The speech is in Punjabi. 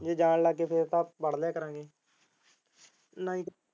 ਜੇ ਜਾਣ ਲੱਗ ਗਏ ਫੇਰ ਤਾ ਪੜ ਲਿਆ ਕਰਾਂਗੇ ਨਹੀਂ ਤਾ।